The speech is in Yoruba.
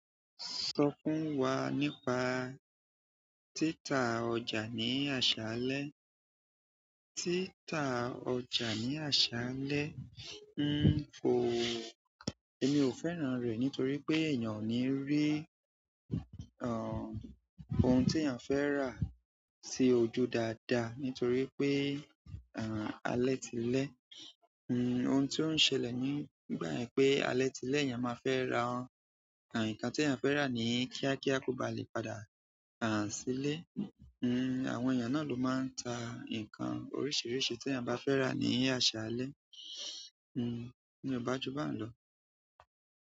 Sọ fún wa nípa títa ọjà ní àṣálẹ́. Tita ọjà ni asale, èmi o fẹ́ràn re nitoripe eyan o ni ri ohun ti eeyan fe ra sí ojú daada nítorípé alẹ́ ti lẹ n, ohun tí ó ń ṣẹlẹ̀ nígbà yẹn pé alẹ́ ti lẹ́, èèyàn má fẹ́ rà, àn, nǹkan tí èèyàn fẹ́ rà ní kíákíá kó ba lè padà, àn, sílé. Àwọn èèyàn na lo má n ta nǹkan oríṣiríṣi tí eeyan ba fe ra ni aṣalẹ n, ní o báju bá ń lọ.